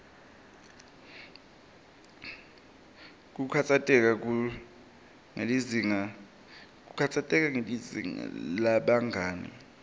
kukhatsateka ngelizinga lebangani